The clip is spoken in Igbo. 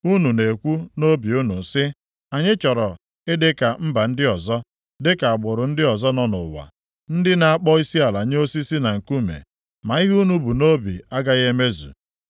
“ ‘Unu na-ekwu nʼobi unu sị, “Anyị chọrọ ịdị ka mba ndị ọzọ, dịka agbụrụ ndị ọzọ nọ nʼụwa, ndị na-akpọ isiala nye osisi na nkume.” Ma ihe unu bu nʼobi agaghị emezu.